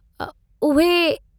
उहे...... उहे.....